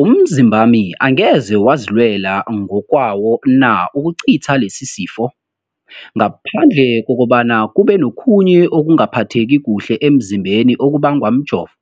Umzimbami angeze wazilwela ngokwawo na ukucitha lesisifo, ngaphandle kobana kube nokhunye ukungaphatheki kuhle emzimbeni okubangwa mjovo?